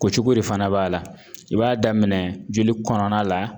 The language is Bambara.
Kocogo de fana b'a la i b'a daminɛ joli kɔnɔna la